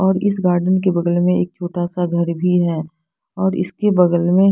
और इस गार्डन के बगल में एक छोटा सा घर भी है और इसके बगल में--